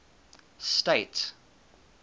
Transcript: state